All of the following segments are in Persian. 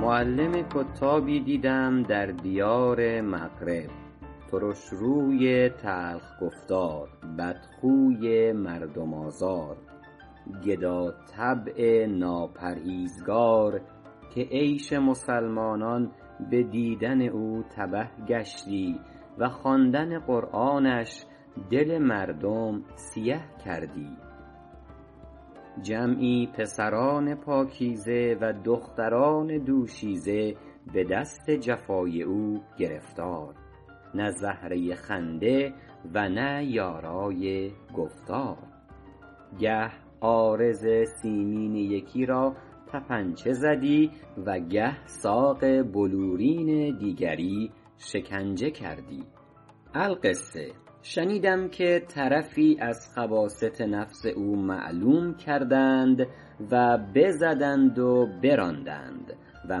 معلم کتابی دیدم در دیار مغرب ترشروی تلخ گفتار بدخوی مردم آزار گداطبع ناپرهیزگار که عیش مسلمانان به دیدن او تبه گشتی و خواندن قرآنش دل مردم سیه کردی جمعی پسران پاکیزه و دختران دوشیزه به دست جفای او گرفتار نه زهره خنده و نه یارای گفتار گه عارض سیمین یکی را طپنچه زدی و گه ساق بلورین دیگری شکنجه کردی القصه شنیدم که طرفی از خباثت نفس او معلوم کردند و بزدند و براندند و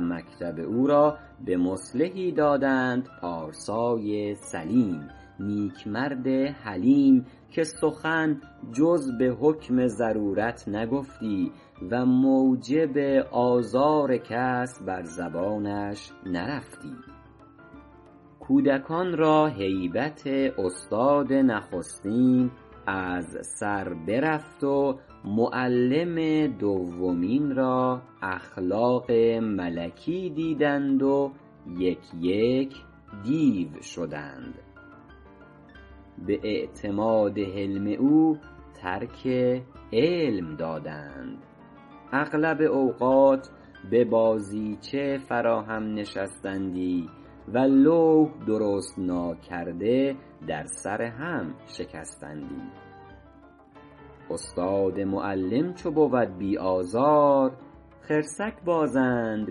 مکتب او را به مصلحی دادند پارسای سلیم نیک مرد حلیم که سخن جز به حکم ضرورت نگفتی و موجب آزار کس بر زبانش نرفتی کودکان را هیبت استاد نخستین از سر برفت و معلم دومین را اخلاق ملکی دیدند و یک یک دیو شدند به اعتماد حلم او ترک علم دادند اغلب اوقات به بازیچه فرا هم نشستندی و لوح درست ناکرده در سر هم شکستندی استاد معلم چو بود بی آزار خرسک بازند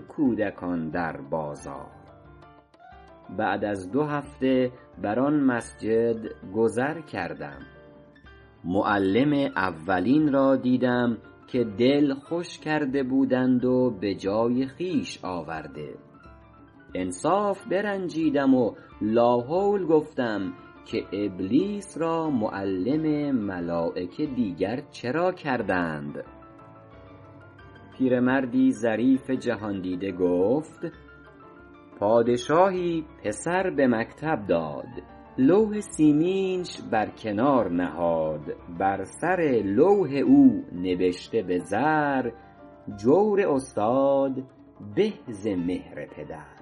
کودکان در بازار بعد از دو هفته بر آن مسجد گذر کردم معلم اولین را دیدم که دل خوش کرده بودند و به جای خویش آورده انصاف برنجیدم و لاحول گفتم که ابلیس را معلم ملایکه دیگر چرا کردند پیرمردی ظریف جهاندیده گفت پادشاهی پسر به مکتب داد لوح سیمینش بر کنار نهاد بر سر لوح او نبشته به زر جور استاد به ز مهر پدر